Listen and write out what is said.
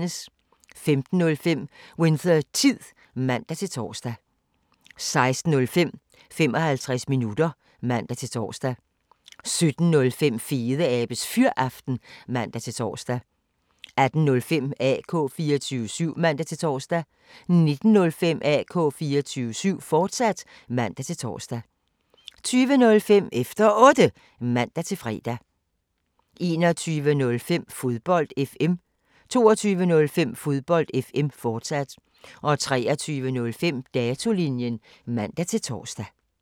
15:05: Winthertid (man-tor) 16:05: 55 minutter (man-tor) 17:05: Fedeabes Fyraften (man-tor) 18:05: AK 24syv (man-tor) 19:05: AK 24syv, fortsat (man-tor) 20:05: Efter Otte (man-fre) 21:05: Fodbold FM 22:05: Fodbold FM, fortsat 23:05: Datolinjen (man-tor)